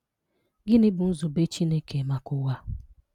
Gịnị́ bụ́ Nzúbè Chinekè maka Ụ̀wà?